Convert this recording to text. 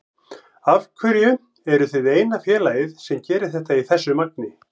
Af hverju eruð þið eina félagið sem gerir þetta í þessu magni?